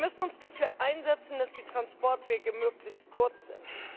Wir müssen uns dafür einsetzen, dass die Transportwege möglichst kurz sind.